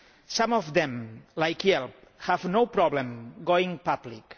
Some of them, like here, have no problem going public.